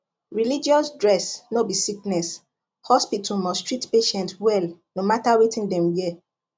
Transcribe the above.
religious dress no be sickness hospital must treat patient well no matter wetin dem wear